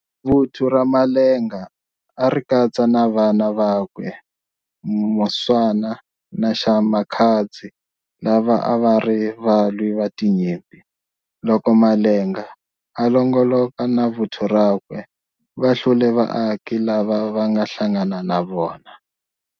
Vuthu ra Malenga a ri katsa na vana vakwe Muswana na Maxakadzi lava a va ri valwi va tinyimpi. Loko Malenga a longoloka na vuthu rakwe, va hlule vaaki lava va nga hlangana na vona.